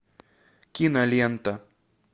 кинолента